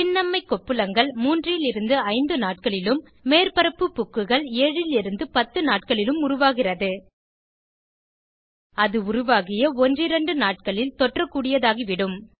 சின்னம்மை கொப்புளங்கள் 3 லிருந்து 5 நாட்களிலும் மேற்பரப்பு புக்குகள் 7 லிருந்து 10 நாட்களிலும் உருவாகிறது அது உருவாகிய ஒன்றிரண்டு நாட்களில் தொற்றக்கூடியதாகிவிடும்